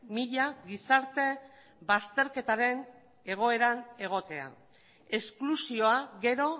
mila gizarte bazterketaren egoeran egotea esklusioa gero